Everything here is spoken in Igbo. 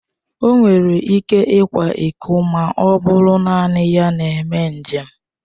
O nwere ike ịkwa ịko ma ọ bụrụ naanị ya na-eme njem.